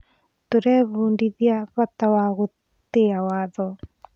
Tũrebundithia bata wa gũtĩa watho.